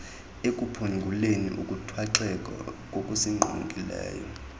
ekuphunguleni ukuthwaxeka kokusinqongileyo